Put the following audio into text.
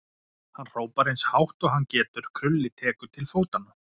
Hann hrópar eins hátt og hann getur, Krulli tekur til fótanna.